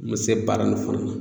N be se baara nin fana na